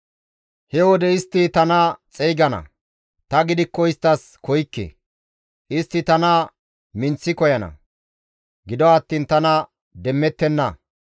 «He wode istti tana xeygana; ta gidikko isttas koykke; istti tana minththi koyana; gido attiin tana demmettenna.